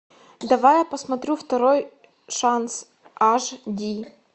давай я посмотрю второй шанс аш ди